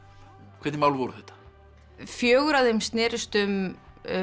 hvernig mál voru þetta fjögur af þeim snérust um